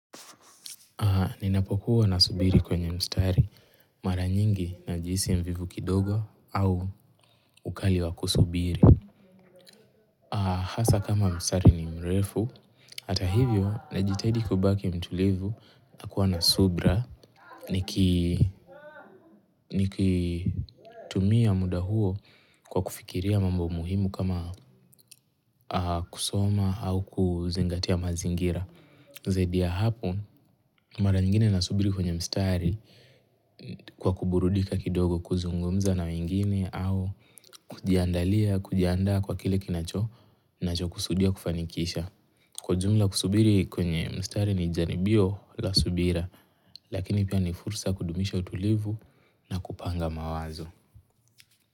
Ninapokuwa na subiri kwenye mstari mara nyingi najihisi mvivu kidogo au ukali wa kusubiri. Hasa kama mstari ni mrefu, hata hivyo najitahidi kubaki mtulivu na kuwa na subra nikitumia muda huo kwa kufikiria mambo muhimu kama kusoma au kuzingatia mazingira. Zaidi ya hapo mara nyingine nasubiri kwenye mstari kwa kuburudika kidogo kuzungumza na wengine au kujiaandalia kujiandaa kwa kile kinacho nachokusudia kufanikisha. Kwa jumla kusubiri kwenye mstari ni jalibio la subira lakini pia ni fursa kudumisha utulivu na kupanga mawazo.